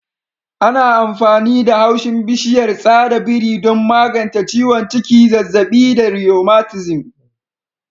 Ana amfani da haushin bishiyar tsada biri don magance ciwon ciki, zazzabi da rheumatism.